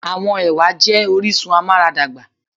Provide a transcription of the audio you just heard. Àwọn ẹwà jé orísun amuaradagba